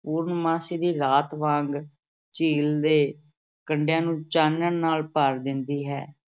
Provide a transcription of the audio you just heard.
ਪੂਰਨਮਾਸ਼ੀ ਦੀ ਰਾਤ ਵਾਂਗ ਝੀਲ ਦੇ ਕੰਢਿਆਂ ਨੂੰ ਚਾਨਣ ਨਾਲ ਭਰ ਦਿੰਦੀ ਹੈ।